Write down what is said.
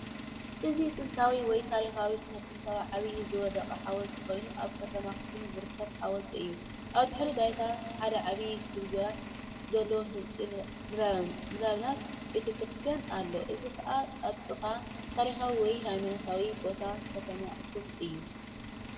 እዚ ጥንታዊ ወይ ታሪኻዊ ስነ-ጥንታዊ ዓብዪ ዝወደቐ ሓወልቲ ኮይኑ አብ ከተማ አክሱም ዝርከብ ሓወልቲ እዩ። ኣብ ድሕረ-ባይታ ሓደ ዓብዪ ጉልላት ዘለዎ ህንጻ ምናልባት ቤተ-ክርስትያን ኣሎ እዚ ኸኣ ኣብ ጥቓ ታሪኻዊ ወይ ሃይማኖታዊ ቦታ ከተማ አከሱም እዩ።